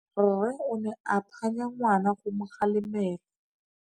Rre o ne a phanya ngwana go mo galemela.